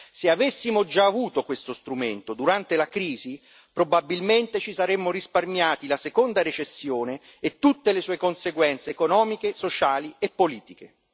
Se avessimo già avuto questo strumento durante la crisi, probabilmente ci saremmo risparmiati la seconda recessione e tutte le sue conseguenze economiche, sociali e politiche.